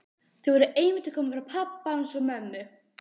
Þau voru einmitt að koma frá pabba hans og mömmu.